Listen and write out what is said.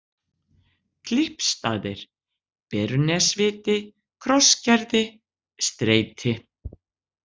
Klyppsstaðir, Berunesviti, Krossgerði, Streiti